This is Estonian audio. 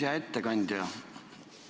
Hea ettekandja!